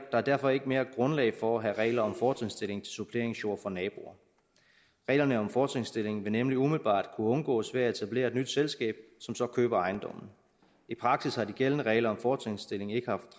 er derfor ikke mere grundlag for at have regler om fortrinsstilling til suppleringsjord for naboer reglerne om fortrinsstilling vil nemlig umiddelbart kunne undgås ved at etablere et nyt selskab som så køber ejendommen i praksis har de gældende regler om fortrinsstilling ikke har